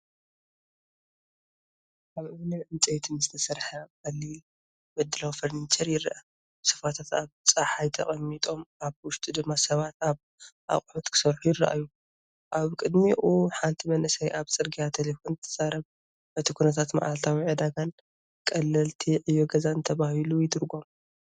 ካብ እምንን ዕንጨይትን ዝተሰርሐ ቀሊል ምድላው ፈርኒቸር ይርአ። ሶፋታት ኣብ ጸሓይ ተቐሚጦም፡ ኣብ ውሽጢ ድማ ሰባት ኣብ ኣቑሑት ክሰርሑ ይረኣዩ። ኣብ ቅድሚኡ ሓንቲ መንእሰይ ኣብ ጽርግያ ተሌፎን ትዛረብ፡ እቲ ኩነታት መዓልታዊ ዕዳጋን ቀለልቲ ዕዮ ገዛን ተባሂሉ ይትርጎም።